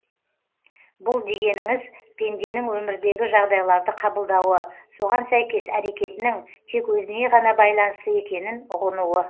бұл дегеніңіз пенденің өмірдегі жағдайларды қабылдауы соған сәйкес әрекетінің тек өзіне ғана байланысты екенін ұғынуы